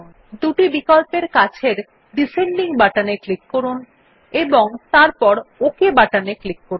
দুটি বিকল্পের কাছের ডিসেন্ডিং বাটনে ক্লিক করুন এবং তারপর ওক বাটনে ক্লিক করুন